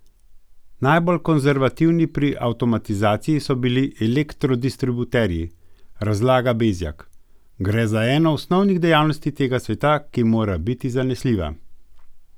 Najbolj konservativni pri avtomatizaciji so bili elektrodistributerji, razlaga Bezjak: "Gre za eno osnovnih dejavnosti tega sveta, ki mora biti zanesljiva.